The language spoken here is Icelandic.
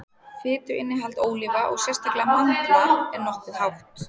fituinnihald ólíva og sérstaklega mandla er nokkuð hátt